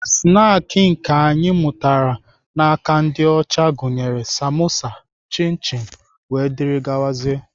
Snaakị anyị mụtara n'aka ndị ọcha gụnyere samosa, chin chin wdg.